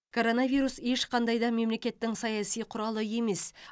коронавирус ешқандай да мемлекеттің саяси құралы емес